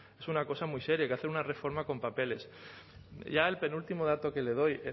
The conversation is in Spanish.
es una cosa muy seria hay que hacer una reforma con papeles ya el penúltimo dato que le doy